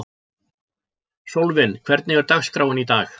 Sólvin, hvernig er dagskráin í dag?